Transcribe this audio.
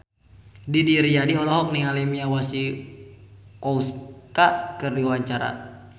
Didi Riyadi olohok ningali Mia Masikowska keur diwawancara